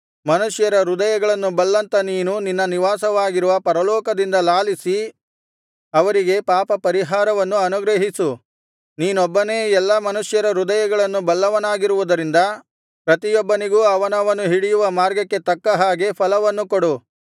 ಮನುಷ್ಯರ ಹೃದಯಗಳನ್ನು ಬಲ್ಲಂಥ ನೀನು ನಿನ್ನ ನಿವಾಸವಾಗಿರುವ ಪರಲೋಕದಿಂದ ಲಾಲಿಸಿ ಅವರಿಗೆ ಪಾಪಪರಿಹಾರವನ್ನು ಅನುಗ್ರಹಿಸು ನೀನೊಬ್ಬನೇ ಎಲ್ಲಾ ಮನುಷ್ಯರ ಹೃದಯಗಳನ್ನು ಬಲ್ಲವನಾಗಿರುವುದರಿಂದ ಪ್ರತಿಯೊಬ್ಬನಿಗೂ ಅವನವನು ಹಿಡಿಯುವ ಮಾರ್ಗಕ್ಕೆ ತಕ್ಕ ಹಾಗೆ ಫಲವನ್ನು ಕೊಡು